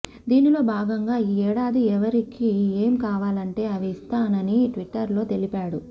దీనిలో భాగంగా ఈ ఏడాది ఎవరికి ఏం కావాలంటే అవి ఇస్తానని ట్విట్టర్లో తెలిపాడు